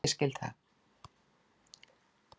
Ég skil það.